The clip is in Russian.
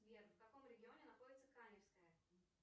сбер в каком регионе находится каменское